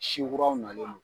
Si kuraw nalen do.